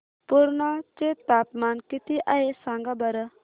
पुर्णा चे तापमान किती आहे सांगा बरं